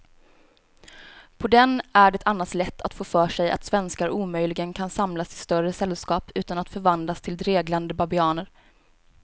På den är det annars lätt att få för sig att svenskar omöjligen kan samlas i större sällskap utan att förvandlas till dreglande babianer.